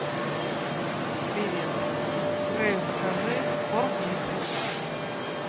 привет грею закажи корм и вкусняшки